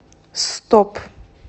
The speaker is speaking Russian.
стоп